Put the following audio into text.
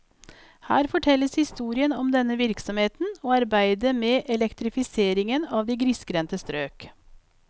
Her fortelles historien om denne virksomheten og arbeidet med elektrifiseringen av de grisgrendte strøk.